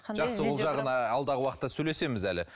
жақсы ол жағын алдағы уақытта сөйлесеміз әлі